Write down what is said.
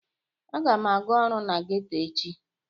Aga m aga ọrụ na geto echi